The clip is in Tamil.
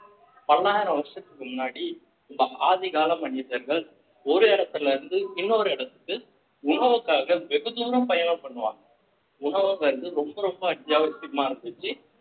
பல்லாயிரம் வருஷத்துக்கு முன்னாடி உங்க ஆதிகால மனிதர்கள் ஒரு இடத்துல இருந்து இன்னொரு இடத்துக்கு உணவுக்காக வெகு தூரம் பயணம் பண்ணுவாங்க உணவுங்கிறது ரொம்ப ரொம்ப அத்தியாவசியமா இருந்துச்சு